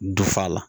Dufa la